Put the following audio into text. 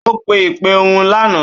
Ó pe ìpè ohùn lánàá.